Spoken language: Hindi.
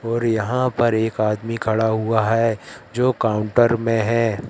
और यहां पर एक आदमी खड़ा हुआ है जो काउंटर में है।